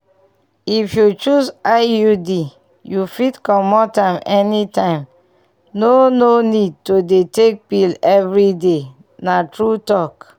if you choose iud you fit comot am anytime no no need to dey take pill every day na true talk.